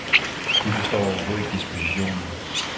De forstod overhovedet ikke dispositionen.